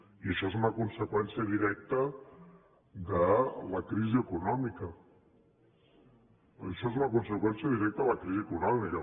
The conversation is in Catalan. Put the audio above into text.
i això és una conseqüència directa de la crisi econòmica això és una conseqüència directa de la crisi econòmica